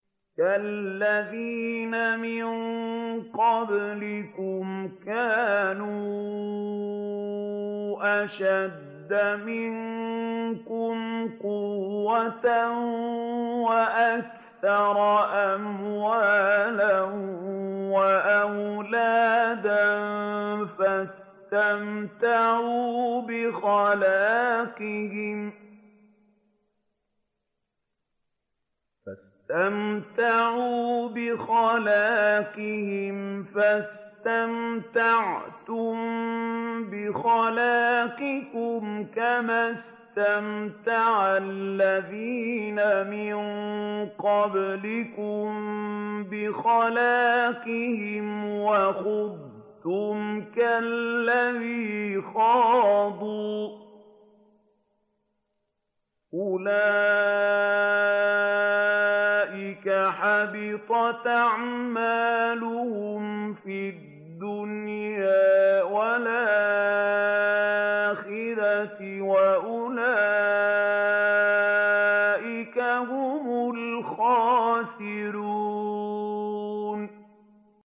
كَالَّذِينَ مِن قَبْلِكُمْ كَانُوا أَشَدَّ مِنكُمْ قُوَّةً وَأَكْثَرَ أَمْوَالًا وَأَوْلَادًا فَاسْتَمْتَعُوا بِخَلَاقِهِمْ فَاسْتَمْتَعْتُم بِخَلَاقِكُمْ كَمَا اسْتَمْتَعَ الَّذِينَ مِن قَبْلِكُم بِخَلَاقِهِمْ وَخُضْتُمْ كَالَّذِي خَاضُوا ۚ أُولَٰئِكَ حَبِطَتْ أَعْمَالُهُمْ فِي الدُّنْيَا وَالْآخِرَةِ ۖ وَأُولَٰئِكَ هُمُ الْخَاسِرُونَ